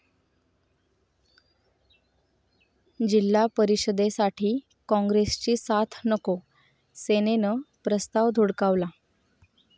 जि.परिषदेसाठी काँग्रेसची साथ नको, सेनेनं प्रस्ताव धुडकावला